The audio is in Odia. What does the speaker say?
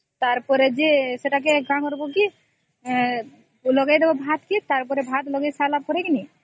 ତାର ପରେ ଯେ ସେଟା କେ କଣ କରିବା ଯେ ଲଗେଇଦେବା ଭାତ କେ ଟଗର ପରେ ଭାତ ଲଗେଇ ସରିଲା ପରେ କି ନାଇଁ